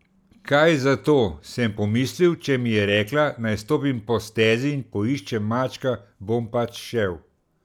Kaj zato, sem pomislil, če mi je rekla, naj stopim po stezi in poiščem mačka, bom pač šel.